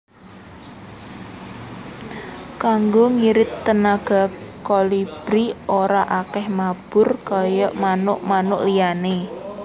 Kanggo ngirit tenaga Kolibri ora akèh mabur kaya manuk manuk liyané